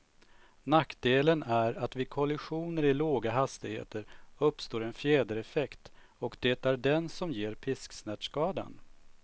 Nackdelen är att vid kollisioner i låga hastigheter uppstår en fjädereffekt, och det är den som ger pisksnärtskadan.